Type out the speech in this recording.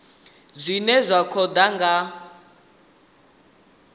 zwine zwa khou ḓa nga